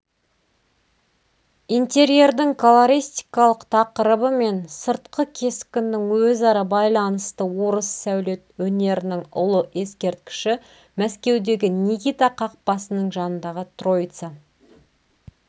интерьердің колористикалық тақырыбы мен сыртқы кескіннің өзара байланысты орыс сәулет өнерінің ұлы ескерткіші мәскеудегі никита қақпасының жанындағы троица